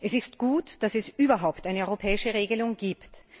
Es ist gut, dass es überhaupt eine europäische Regelung gibt.